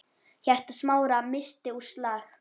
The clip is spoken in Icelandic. Hjarta Smára missti úr slag.